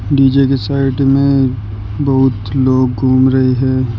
DJ की side में बहुत लोग घूम रहे हैं।